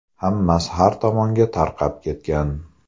Hammasi har tomonga tarqab ketgan.